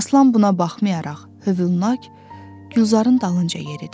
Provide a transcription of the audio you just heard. Aslan buna baxmayaraq, hövlnak Gülzarın dalınca yeridi.